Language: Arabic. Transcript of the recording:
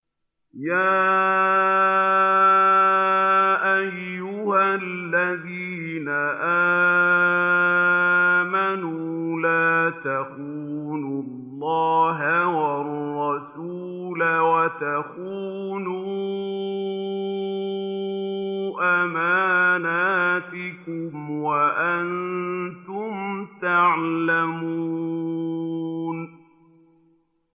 يَا أَيُّهَا الَّذِينَ آمَنُوا لَا تَخُونُوا اللَّهَ وَالرَّسُولَ وَتَخُونُوا أَمَانَاتِكُمْ وَأَنتُمْ تَعْلَمُونَ